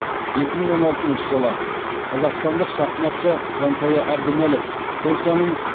екі мың он алтыншы жылы қазақстандық шахматшы жансая әбдімәлік польшаның